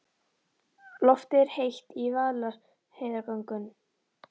Loftið er heitt í Vaðlaheiðargöngum.